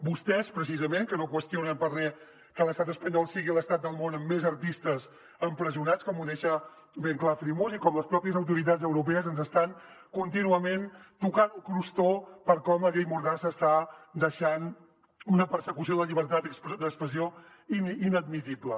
vostès precisament que no qüestionen per a re que l’estat espanyol sigui l’estat del món amb més artistes empresonats com ho deixa ben clar freemuse i com les pròpies autoritats europees ens estan contínuament tocant el crostó per com la llei mordassa està deixant una persecució de la llibertat d’expressió inadmissible